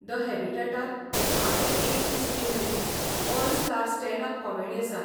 The हॅबिटाटांत धा ते एकतीस मे मेरेन 'all star stand up comedy' आसा.